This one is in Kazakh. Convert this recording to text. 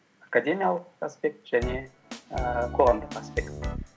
академялық аспект және ііі қоғамдық аспект